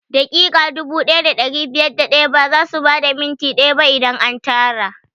Daƙiƙa dubu ɗaya da ɗari biyar da ɗaya bazasu bada minti ɗaya ba idan an tara